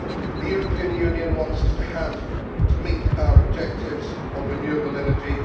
The European Union wants us to meet our objectives of renewable energy.